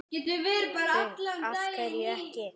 Hrund: Af hverju ekki?